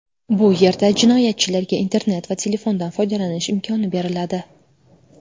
Bu yerda jinoyatchilarga internet va telefondan foydalanish imkoni beriladi.